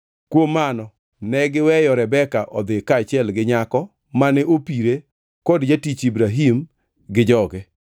Kuom mano ne giweyo Rebeka odhi kaachiel gi nyako mane opire kod jatich Ibrahim gi joge.